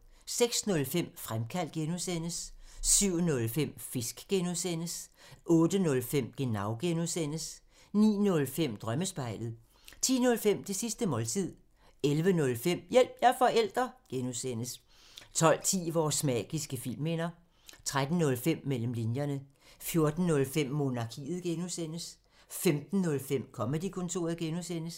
06:05: Fremkaldt (G) 07:05: Fisk (G) 08:05: Genau (G) 09:05: Drømmespejlet 10:05: Det sidste måltid 11:05: Hjælp – jeg er forælder! (G) 12:10: Vores magiske filmminder 13:05: Mellem linjerne 14:05: Monarkiet (G) 15:05: Comedy-kontoret (G)